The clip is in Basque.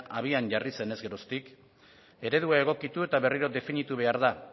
abian jarri zenez geroztik eredua egokitu eta berriro definitu behar da